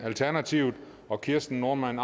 og kirsten normann